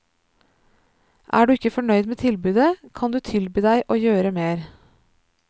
Er du ikke fornøyd med tilbudet, kan du tilby deg å gjøre mer.